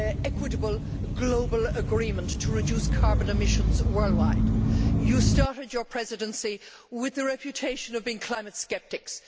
equitable global agreement to reduce carbon emissions worldwide? You started your Presidency with the reputation of being climate sceptics.